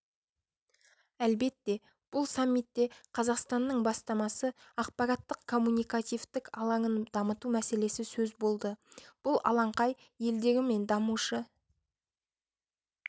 әлбетте бұл самитте қазақстанның бастамасы ақпараттық-коммуникативтік алаңын дамыту мәселесі сөз болды бұл алаңқай елдері мен дамушы